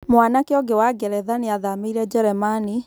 Mwanake ũngĩ wa Ngeretha nĩathamĩire jeremani .